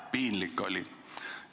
Piinlik oli!